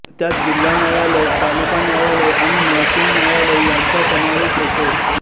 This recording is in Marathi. त्यात जिल्हा न्यायालय तालुका न्यायालय आणि महसूल न्यायालय यांचा समावेश होतो